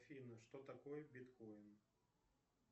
афина что такое биткоин